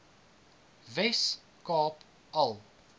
wes kaap al